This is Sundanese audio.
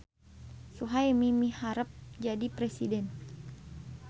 Suhaemi miharep jadi presiden